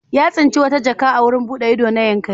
Ya tsinci wata jaka a wurin buɗe ido na Yankari.